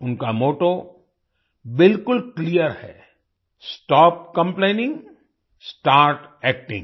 उनका मोट्टो बिलकुल क्लीयर है स्टॉप कंप्लेनिंग स्टार्ट एक्टिंग